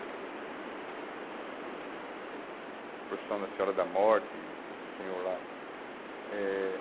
A procissão da Senhora da Morte, o Senhor lá. Eh